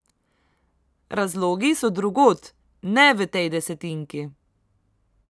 Razlogi so drugod, ne v tej desetinki.